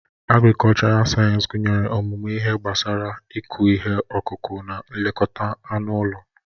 Agrikọlchọral sayensị gụnyere ọmụmụ ihe gbasara ịkụ ihe ọkụkụ na nlekọta anụ ụlọ.